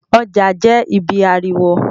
Ọjà jẹ́ ibí ariwo